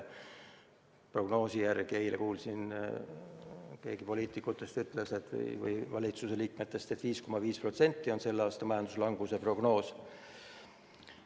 Prognoosi järgi, eile kuulsin, keegi poliitikutest või valitsuse liikmetest ütles, et 5,5% on selle aasta prognoositav majanduslangus.